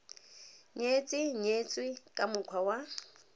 nyetse nyetswe ka mokgwa wa